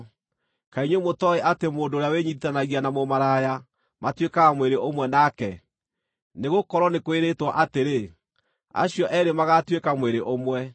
Kaĩ inyuĩ mũtooĩ atĩ mũndũ ũrĩa wĩnyiitithanagia na mũmaraya, matuĩkaga mwĩrĩ ũmwe nake? Nĩgũkorwo nĩ kwĩrĩtwo atĩrĩ, “Acio eerĩ magaatuĩka mwĩrĩ ũmwe.”